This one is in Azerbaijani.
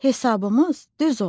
Hesabımız düz oldu.